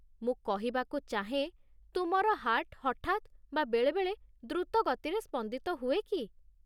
ମୁଁ କହିବାକୁ ଚାହେଁ, ତୁମର ହାର୍ଟ ହଠାତ୍ ବା ବେଳେବେଳେ ଦ୍ରୁତ ଗତିରେ ସ୍ପନ୍ଦିତ ହୁଏ କି?